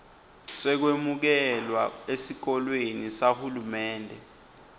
sekwemukelwa esikolweni sahulumende